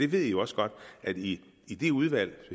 ved jo også godt at i i de udvalg